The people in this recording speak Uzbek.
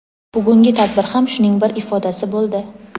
Bugungi tadbir ham shuning bir ifodasi boʼldi.